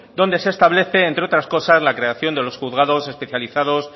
donde se establece entre otras cosas la creación de los juzgados especializados